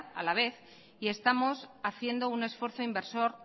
a la vez y estamos haciendo un esfuerzo inversor